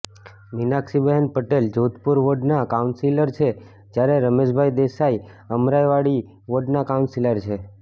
મીનાક્ષીબહેન પટેલ જોધપુર વોર્ડનાં કાઉન્સિલર છે જ્યારે રમેશભાઈ દેસાઈ અમરાઈવાડી વોર્ડનાં કાઉન્સિલર છે